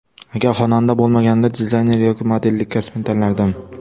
Agar xonanda bo‘lmaganimda, dizayner yoki modellik kasbini tanlardim.